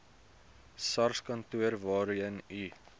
sarskantoor waarheen u